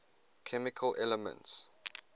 chemical elements